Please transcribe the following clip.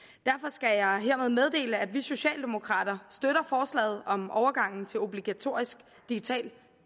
skal jeg hermed meddele at vi socialdemokrater støtter forslaget om overgangen til obligatorisk digital